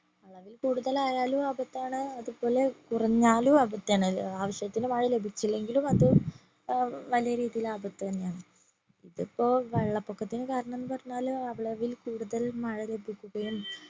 അളവിൽ കൂടുതൽ ആയാലും ആപത്താണ് അതുപോലെ കുറഞ്ഞാലും ആപത്താണ്. ആവിശ്യത്തിന് മഴ ലഭിച്ചില്ലെങ്കിലും അത് ഏർ വലിയ രീതിയിൽ ആപത്ത് തന്നെയാണ് ഇതിപ്പോ വെള്ളപ്പൊക്കത്തിന് കാരണം എന്ന് പറഞ്ഞാല് അളവിൽ കൂടുതൽ മഴ ലഭിക്കുകയും